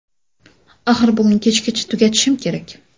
Axir bugun kechgacha tugatishim kerak.